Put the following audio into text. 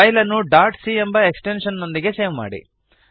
file ಅನ್ನು dot C ಎಂಬ extension ನೊಂದಿಗೆ ಸೇವ್ ಮಾಡಿ